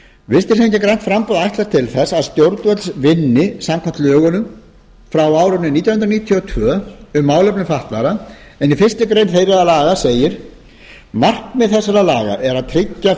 hreyfingin grænt framboð ætlast til þess að stjórnvöld vinni samkvæmt lögunum frá árinu nítján hundruð níutíu og tvö um málefni fatlaðra en í fyrstu grein þeirra laga segir markmið þessara laga er að tryggja